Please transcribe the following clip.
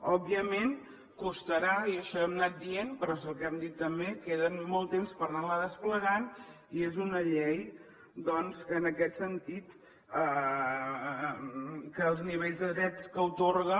òbviament costarà i això ho hem anat dient però és el que hem dit també queda molt temps per anar la desplegant i és una llei doncs que en aquest sentit els nivells de drets que atorga